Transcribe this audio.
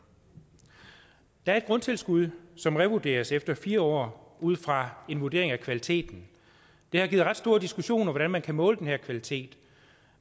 der er et grundtilskud som revurderes efter fire år ud fra en vurdering af kvaliteten det har givet ret store diskussioner hvordan man kan måle den her kvalitet